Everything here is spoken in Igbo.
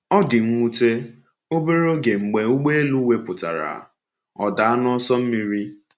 Ọ dị nwute, obere oge mgbe ụgbọelu wepụtara, ọ daa n’ọsọ mmiri.